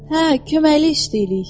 Hə, köməklik istəyirik.